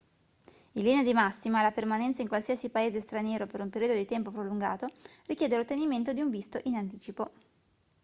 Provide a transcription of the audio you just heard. in linea di massima la permanenza in qualsiasi paese straniero per un periodo di tempo prolungato richiede l'ottenimento di un visto in anticipo